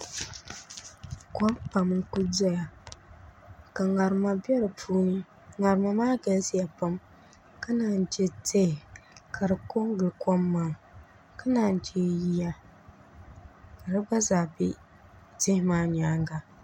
Kom pam n ku doya ka ŋarima bɛ di puuni ŋarima maa galisiya pam ka naan chɛ tihi ka di ko n gili kom maa ka naan chɛ yiya ka di gba zaa bɛ tihi maa nyaanga